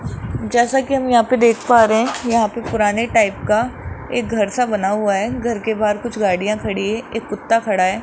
जैसा कि हम यहां पर देख पा रहे हैं यहां पे पुराने टाइप का एक घर सा बना हुआ है घर के बाहर कुछ गाड़ियां खड़ी हैं एक कुत्ता खड़ा है।